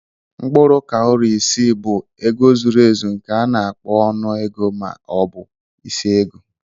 Mkpụrụ kawụri isi bụ ego zuru ezu nke a na-akpọ ọnụ ego ma ọ bụ isi ego.